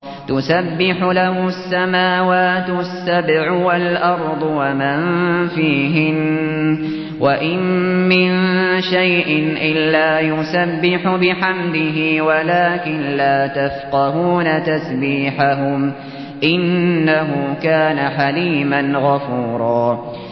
تُسَبِّحُ لَهُ السَّمَاوَاتُ السَّبْعُ وَالْأَرْضُ وَمَن فِيهِنَّ ۚ وَإِن مِّن شَيْءٍ إِلَّا يُسَبِّحُ بِحَمْدِهِ وَلَٰكِن لَّا تَفْقَهُونَ تَسْبِيحَهُمْ ۗ إِنَّهُ كَانَ حَلِيمًا غَفُورًا